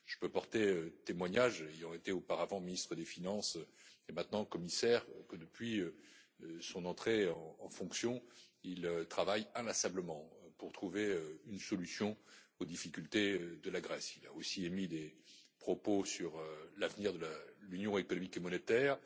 Je peux porter témoignage, ayant été auparavant ministre des finances et étant maintenant commissaire, que, depuis son entrée en fonction, il travaille inlassablement pour trouver une solution aux difficultés de la Grèce. Il a aussi émis des propos sur l'avenir de l'Union économique et monétaire.